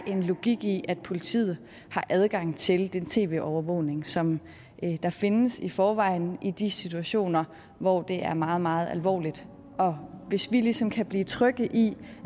en logik i at politiet har adgang til den tv overvågning som findes i forvejen i de situationer hvor det er meget meget alvorligt og hvis vi ligesom kan blive betrygget i